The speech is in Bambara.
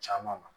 Caman ma